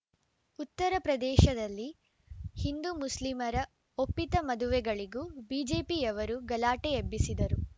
ಉತ್ತರ ಪ್ರದೇಶದಲ್ಲಿ ಹಿಂದುಮುಸ್ಲಿಮರ ಒಪ್ಪಿತ ಮದುವೆಗಳಿಗೂ ಬಿಜೆಪಿಯವರು ಗಲಾಟೆ ಎಬ್ಬಿಸಿದರು